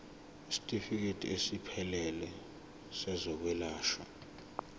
isitifikedi esiphelele sezokwelashwa